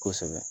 Kosɛbɛ